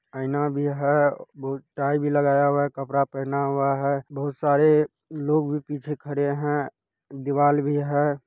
आइना भी है बू टाई भी लगाया हुआ है कपड़ा पहना हुआ है बहुत सारे लोग भी पीछे खड़े है दीवाल भी है।